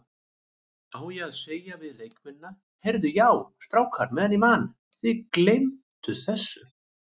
Á ég að segja við leikmennina, Heyrðu já strákar meðan ég man, þið gleymt þessu?